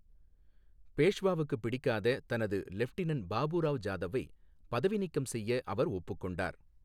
பேஷ்வாவுக்கு பிடிக்காத தனது லெப்டினன்ட் பாபுராவ் ஜாதவை பதவி நீக்கம் செய்ய அவர் ஒப்புக்கொண்டார்.